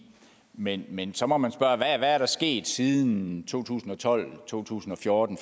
men men så må man spørge hvad er der sket siden to tusind og tolv to tusind og fjorten